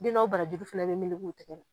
Den dɔw bara jugu fana bi meleke u tigɛ la.